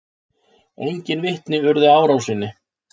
Enginn vitni urðu að árásinni